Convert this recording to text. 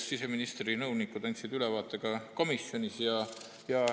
siseministri nõunikud andsid ülevaate ka komisjonis.